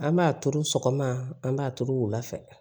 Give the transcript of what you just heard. An b'a turu sɔgɔma an b'a turu wula fɛ